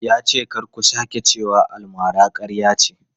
Ya ce kar mu sake cewa almara ƙarya ce.